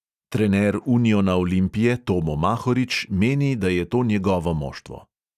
Trener uniona olimpije tomo mahorič meni, da je to njegovo moštvo.